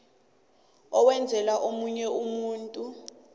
owenzela omunye umuntu